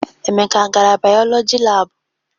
Emeka a gara bayọlọjị laabụ?